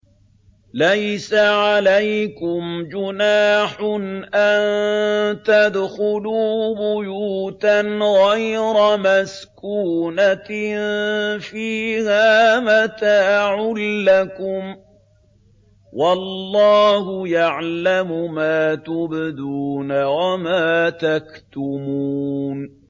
لَّيْسَ عَلَيْكُمْ جُنَاحٌ أَن تَدْخُلُوا بُيُوتًا غَيْرَ مَسْكُونَةٍ فِيهَا مَتَاعٌ لَّكُمْ ۚ وَاللَّهُ يَعْلَمُ مَا تُبْدُونَ وَمَا تَكْتُمُونَ